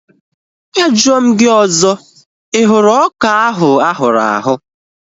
A jụọ m gị ọzọ, ị hụrụ ọka ahu ahụrụ ahụ̀?